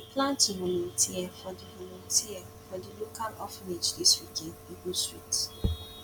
i dey plan to volunteer for di volunteer for di local orphanage this weekend e go sweet